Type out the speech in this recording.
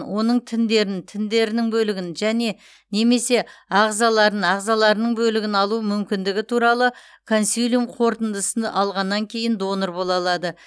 оның тіндерін тіндерінің бөлігін және немесе ағзаларын ағзаларының бөлігін алу мүмкіндігі туралы консилиум қорытындысын алғаннан кейін донор бола алады